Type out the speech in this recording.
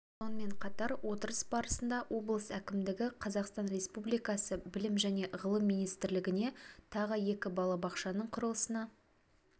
сонымен қатар отырыс барысында облыс әкімдігі қазақстан республикасы білім және ғылым министрлігіне тағы екі балабақшаның құрылысына